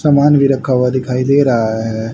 समान भी रखा हुआ दिखाई दे रहा है।